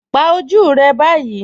Pà ojú rẹ báyì